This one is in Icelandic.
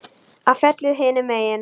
Á fjallið hinum megin.